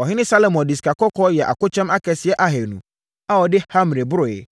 Ɔhene Salomo de sikakɔkɔɔ yɛɛ akokyɛm akɛseɛ ahanu a wɔde hamre boroeɛ,